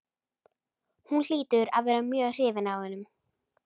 Hún hlýtur að vera mjög hrifin af honum.